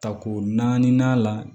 Tako naani la